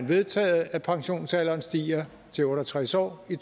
vedtaget at pensionsalderen stiger til otte og tres år i